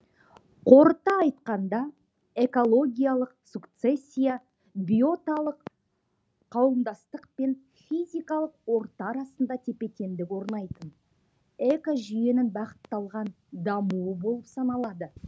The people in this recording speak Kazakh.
қорыта айтқанда экологиялық сукцессия биоталық қа уымдастық пен физикалық орта арасында тепе теңдік орнайды экожүйенің бағытталған дамуы болып саналады